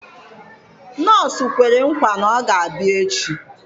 Nọọsụ kwere nkwa na ọ ga-abịa echi